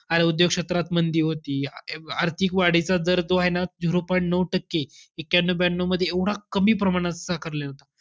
आणि उद्योग क्षेत्रात मंदी होती. आ~ आर्थिक वाढीचा दर जो आहे ना zero point नऊ टक्के, एक्क्यानौ ब्यानऊ मध्ये एवढा कमी प्रमाणात होता.